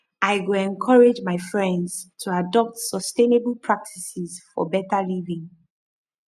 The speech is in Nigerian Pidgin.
i go encourage my friends to adopt sustainable practices for better living